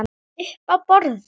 Uppi á borði?